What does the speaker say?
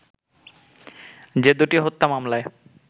যে দু'টি হত্যা মামলায়